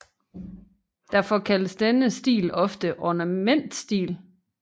Derfor kaldes denne stil ofte ornamentstil